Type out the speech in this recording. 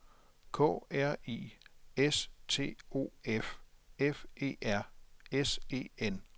K R I S T O F F E R S E N